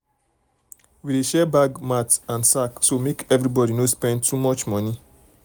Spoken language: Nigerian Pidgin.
we dey share share bag mat and sack so make everybody no spend too much money.